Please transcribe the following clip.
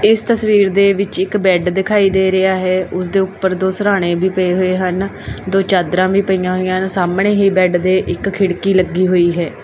ਇਸ ਤਸਵੀਰ ਦੇ ਵਿੱਚ ਇੱਕ ਬੈਡ ਦਿਖਾਈ ਦੇ ਰਿਹਾ ਹੈ ਓਸਦੇ ਉਪਰ ਦੋ ਸਿਰਹਾਨੇ ਵੀ ਪਏ ਹੋਏ ਹਨ ਦੋ ਚਾਦਰਾਂ ਵੀ ਪਈਆਂ ਹੋਈ ਯਾਂ ਨੇ ਸਾਹਮਣੇ ਹੀ ਬੈਡ ਦੇ ਇੱਕ ਖਿੜਕੀ ਲੱਗੀ ਹੋਈ ਹੈ।